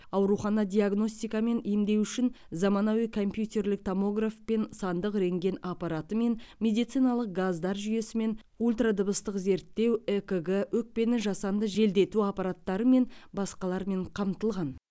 аурухана диагностика мен емдеу үшін заманауи компьютерлік томографпен сандық рентген аппаратымен медициналық газдар жүйесімен ультродыбыстық зерттеу экг өкпені жасанды желдету аппараттары және басқалармен қамтылған